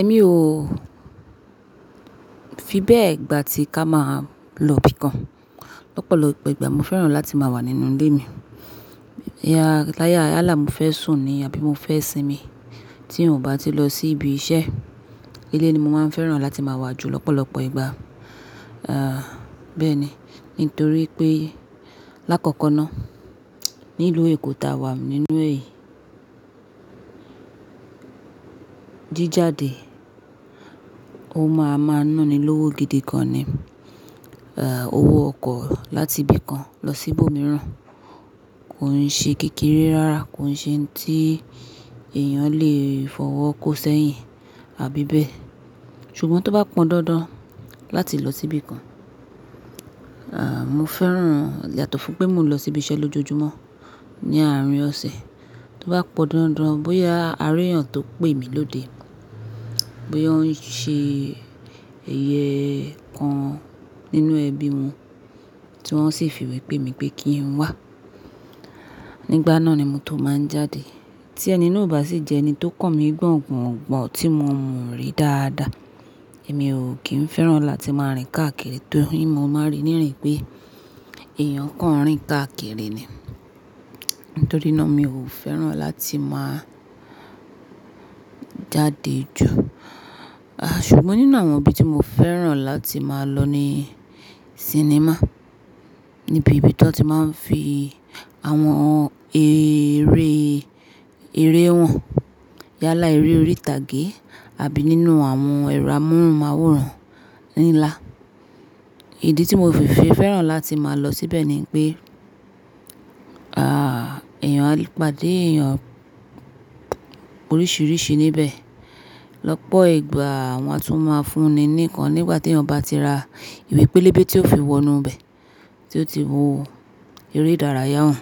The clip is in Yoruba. Ẹ̀mí ò fi bẹ́ẹ̀ gbà tí ká máa lọ bí kan lọ́pọ̀lọpọ̀ ìgbà. Mo fẹ́ràn láti máa wà nínú ilé mi. Já láyà, yálà mó fẹ sùn ní, àbí mo fẹ́ sinmi tí n ò bá ti lọ sí ibi iṣẹ́. Ilé ni mo máa ń fẹ́ràn láti máa wà jù lọ́pọ̀lọpọ̀ ìgbà. Aà, bẹ́ẹ̀ ni. Nítorí pé lákọ̀ọ̀kan náá, nílùú Èkó ta wà nínú è yí jíjáde, ó máa ma ná mi lówó gidi gan ni. Aà, owó ọkọ̀ láti bí kan lọ sí ibòmíràn kò ń ṣe kékeré rárá, kò ń ṣe ohun tí èèyàn lè fọwọ́ kó sẹ́yìn àbí bẹ́ẹ̀. Ṣùgbọ́n tó bá pọn dandan láti lọ sí bí kan, aà, mo fẹ́ràn yato fún pé mo ń lọ sí ibi iṣẹ́ lójoojúmọ́ ní àárín ọ̀sẹ̀. Tó bá pọ̀n dandan bóyá aréyàn tó pè mí lóde, bóyá wọ́n ń ṣe eye kan nínú ẹbí wọn tí wọ́n sì fi wé pé mí pé kí n wá, nígbà náà ni mo tó máa ń jáde. Tí ẹni náà ò bá sì jẹ́ ẹni tó kàn mí gbọ̀ǹgbọ̀ǹ gbọ̀ tí mo mọ̀ rí dáadáa, èmi ò kí ń fẹ́ràn láti máa rìn káàkiri torí mo máa rí ní iri pé èèyàn kan ń rìn káàkiri ni. Nítorí náà mi ò fẹ́ràn láti máa jáde jù. Aà, ṣùgbọ́n nínú àwọn ibi tí mo fẹ́ràn láti máa lọ ni sinimá, níbi ìbí tí wọ́n ti máa ń fi àwọn eré, eré han yálà eré orí ìtàgé àbí nínú àwọn ẹ̀rọ amóhùnmáwòrán nla. Ìdí tí mo fi fi fẹ́ràn láti máa lọ síbẹ̀ ni pé, aà, èèyàn lè pàdé èèyàn oríṣiríṣi níbẹ̀. Lọ́pọ̀ ìgbà wọ́n á tún máa fún ni ní nnkan nígbà tí eeyan ba ti ra ìwé pélébé tí ó fi wọnú ibẹ̀ tí ó ti wo eré ìdárayá wọn